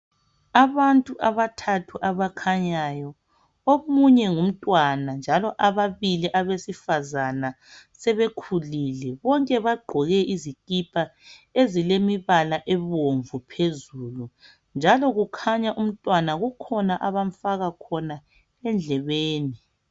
Abantu abathathu abakhanyayo, omunye ngumntwana njalo ababili abesifazana sebekhulile. Bonke bagqoke izikipa ezilemibala ebomvu phezulu njalo kukhanya umtwana kukhona abamfaka khona endlebeni.